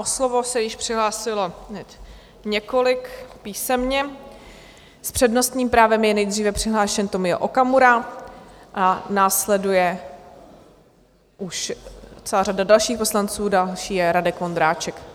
O slovo se již přihlásilo několik písemně, s přednostním právem je nejdříve přihlášen Tomio Okamura a následuje už celá řada dalších poslanců, další je Radek Vondráček.